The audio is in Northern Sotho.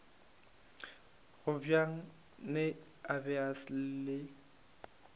gobane a be a le